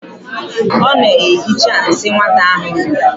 Ọ na-ehicha nsị nwata ahụ nyụrụ.